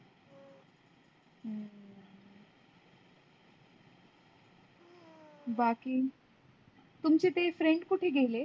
बाकी तुमचे ते friend कुठ गेले?